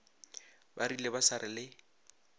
ba rile ba sa le